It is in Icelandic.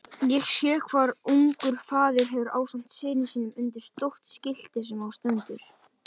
Ég sé hvar ungur faðir hverfur ásamt syni sínum undir stórt skilti sem á stendur